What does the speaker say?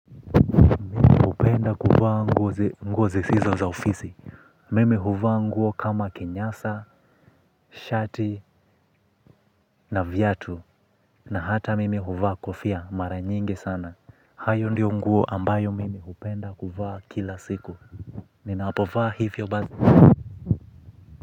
Hupenda kuvaa nguo zisizo za ofisi. Mimi huvaa nguo kama kinyasa, shati na viatu. Na hata mimi huvaa kofia mara nyingi sana. Hayo ndio nguo ambayo mimi hupenda kuvaa kila siku. Ninapofaa hivyo ba.